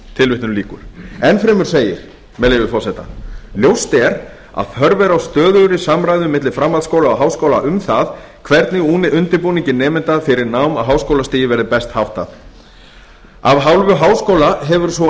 tilvitnun lýkur enn fremur segir með leyfi forseta ljóst er að þörf er á stöðugri samræðu milli framhaldsskóla og háskóla um það hvernig undirbúningi nemenda fyrir nám á háskólastigi verði best háttað af hálfu háskóla hefur sú